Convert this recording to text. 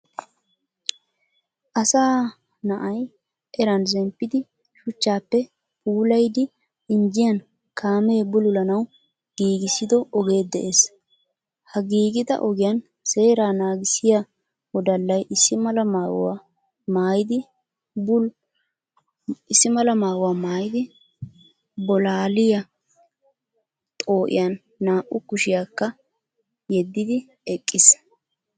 Asaa naa"yi eran zemppidi shuuchchaappe puulayidi injjiyaan kaamee buululanaawu giigisido ogee de"ees. Ha giigida ogiyan seera naagisiyaa woodallayi issi maala maayuwa maayidi bolaaliya xoo"iyaan naa"u kuushshiyakka yeedidi eqqiis.